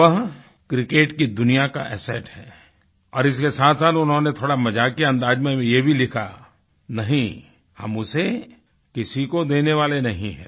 वह क्रिकेट की दुनिया का एसेट है और इसके साथसाथ उन्होंने थोड़ा मजाकिये अंदाज़ में ये भी लिखा नहीं हम उसे किसी को देने वाले नहीं हैं